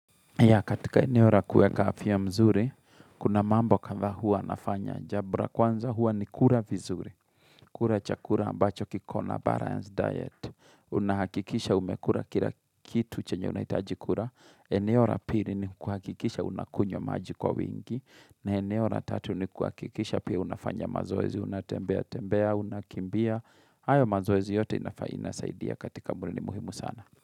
Ya katika ene ora kueka afya mzuri, kuna mambo kadha hua nafanya jambo la kwanza hua ni kura vizuri. Kura chakura ambacho kikona balance diet. Unahakikisha umekura kila kitu chenye unahitajikura. Eneo ra piri ni kuhakikisha unakunywa maji kwa wingi. Na eneo ra tatu ni kuhakikisha pia unafanya mazoezi, unatembea, unakimbia. Hayo mazoezi yote inasaidia katika mwilini ni muhimu sana.